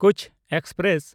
Kutch express